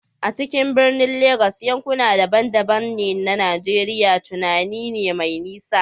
A cikin birnin Legas, yankuna daban-daban na Najeriya tunani ne mai nisa.